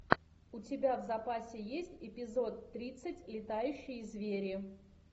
у тебя в запасе есть эпизод тридцать летающие звери